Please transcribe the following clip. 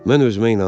Mən özümə inanıram.